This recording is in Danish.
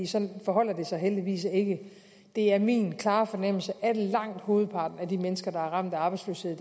sådan forholder det sig heldigvis ikke det er min klare fornemmelse at langt hovedparten af de mennesker der er ramt af arbejdsløshed